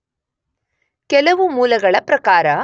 ಕೆಲವು ಮೂಲಗಳ ಪ್ರಕಾರ